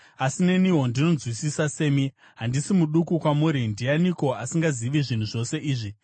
Asi neniwo ndinonzwisisa semi; handisi muduku kwamuri. Ndianiko asingazivi zvinhu zvose izvi?